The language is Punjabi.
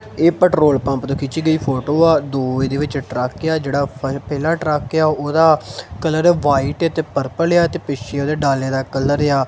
ਇਹ ਪੈਟਰੋਲ ਪੰਪ ਤੋਂ ਖਿੱਚੀ ਗਈ ਫੋਟੋ ਆ ਦੋ ਇਹਦੇ ਵਿਚ ਟਰੱਕ ਏ ਆ ਜਿਹੜਾ ਪ ਪਹਿਲਾ ਟਰੱਕ ਏ ਆ ਓਹਦਾ ਕਲਰ ਆ ਵਾਈਟ ਏ ਤੇ ਪਰਪਲ ਏ ਐ ਤੇ ਪਿੱਛੇ ਓਹਦੇ ਡਾਲੇ ਦਾ ਕਲਰ ਏ ਆ--